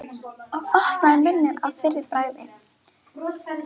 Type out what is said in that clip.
Og opnaði munninn að fyrra bragði.